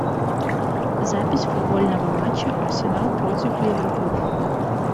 запись футбольного матча арсенал против ливерпуль